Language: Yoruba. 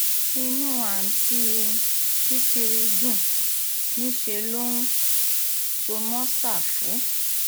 inú àùntí um sìkìrì dùn níṣẹ́ ló um so mọ́ ṣáfù